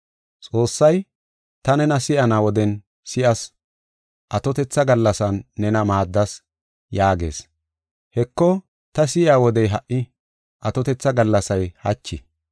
Xoossay, “Ta nena si7ana woden si7as; atotetha gallasan nena maaddas” yaagees. Heko, ta si7iya wodey ha77i; atotetha gallasay hachi.